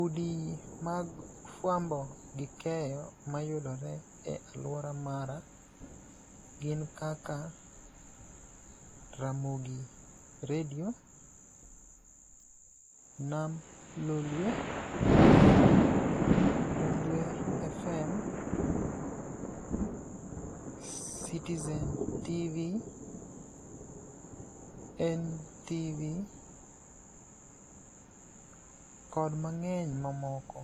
Udi mag fwambo gi keyo mayudore e alwora mara gin kaka Ramogi redio, Nam Lolwe, Undhwe fm, Citizen tv, NTV kod mang'eny mamoko